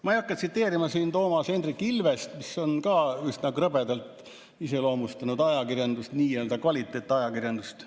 Ma ei hakka tsiteerima Toomas Hendrik Ilvest, kes on ka üsna krõbedalt iseloomustanud ajakirjandust, nii-öelda kvaliteetajakirjandust.